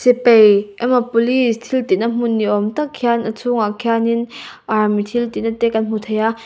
sipai emaw police thil tih na hmun ni awm tak khian a chhung ah khian in army thil tih na te kan hmu thei a.